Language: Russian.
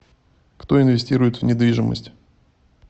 кто инвестирует в недвижимость